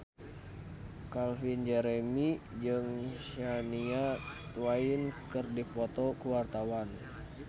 Calvin Jeremy jeung Shania Twain keur dipoto ku wartawan